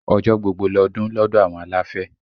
Ọjọ́ gbogbo lọdún lọ́dọ̀ àwọn aláfẹ́